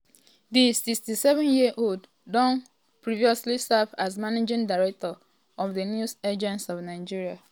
di 67 um year old also don previously serve as managing director um of di news agency of nigeria.